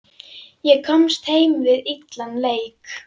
Ég komst heim við illan leik.